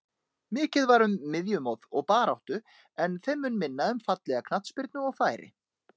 Mikið var um miðjumoð og baráttu en þeim mun minna um fallega knattspyrnu og færi.